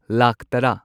ꯂꯥꯈ ꯇꯔꯥ